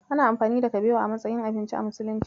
Ana amfani da kabewa a matsayin abinci a musulunci.